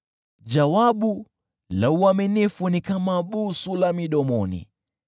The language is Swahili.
Jawabu la uaminifu ni kama busu la midomoni.